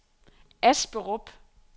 Asperup